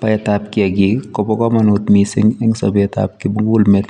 Baet ab kiagik kobaa kamanuut missing en sabeet ab kimugul meet